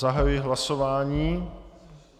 Zahajuji hlasování.